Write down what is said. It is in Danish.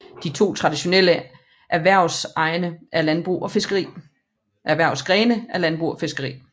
De to traditionelle erhvervsgrene er landbrug og fiskeri